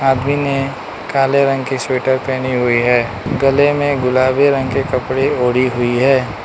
आदमी ने काले रंग की स्वेटर पहनी हुई है गले में गुलाबी रंग के कपड़े ओढ़ी हुई है।